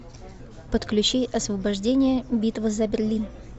подключи освобождение битва за берлин